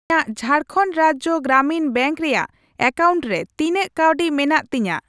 ᱤᱧᱟᱜ ᱡᱷᱟᱨᱠᱷᱚᱱᱰ ᱨᱟᱡᱡᱚ ᱜᱨᱟᱢᱤᱱ ᱵᱮᱝᱠ ᱨᱮᱭᱟᱜ ᱮᱠᱟᱣᱩᱱᱴ ᱨᱮ ᱛᱤᱱᱟᱹᱜ ᱠᱟᱹᱣᱰᱤ ᱢᱮᱱᱟᱜ ᱛᱤᱧᱟ ?